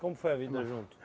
Como foi a vida junto?